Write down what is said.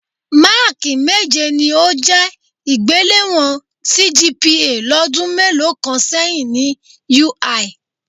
Máákì méje ni ó jẹ́ ìgbéléwọ̀n CGPA lọ́dún mélòó kan sẹ́yìn ni UI